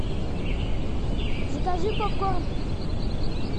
закажи попкорн